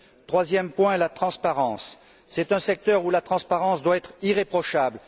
Troisième point, la transparence. C'est un secteur où la transparence doit être irréprochable.